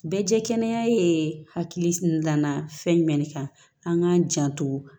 Bɛɛ jɛ kɛnɛ ye hakili la fɛn jumɛn de kan an k'an janto